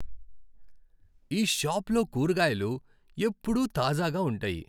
ఈ షాప్లో కూరగాయలు ఎప్పుడూ తాజాగా ఉంటాయి!